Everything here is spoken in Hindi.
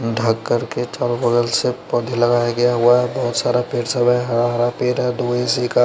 ढक कर के चारो बगल से पौधे लगाया गया हुआ है बहुत सारा पेड़ सब है हरा हरा पेड़ है --